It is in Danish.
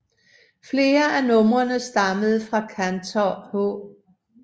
Flere af numrene stammede fra kantor H